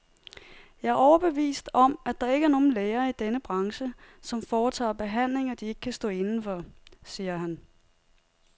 Jeg er overbevist om, at der ikke er nogen læger i denne branche, som foretager behandlinger, de ikke kan stå inde for, siger han.